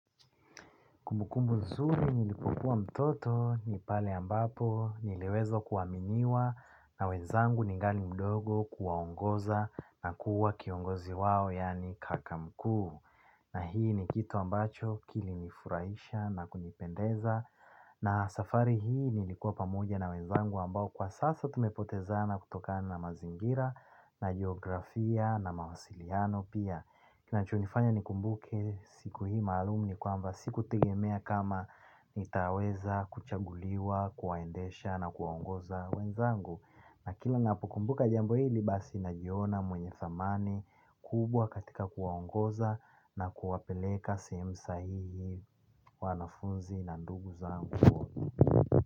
Kumbukumbu nzuri nilipokuwa mtoto ni pale ambapo niliweza kuaminiwa na wenzangu ningali mdogo, kuwaongoza na kuwa kiongozi wao yani kaka mkuu. Na hii ni kitu ambacho kilinifurahisha na kunipendeza. Na safari hii nilikuwa pamoja na wenzangu ambao kwa sasa tumepotezana kutokana na mazingira na geografia na mawasiliano pia. Kinacho nifanya nikumbuke siku hii maalum ni kwamba sikutegemea kama nitaweza kuchaguliwa, kuwaendesha na kuwaongoza wenzangu. Na kila ninapokumbuka jambo hili basi najiona mwenye thamani kubwa katika kuwaongoza na kuwapeleka sehemu sahihi wanafunzi na ndugu zangu.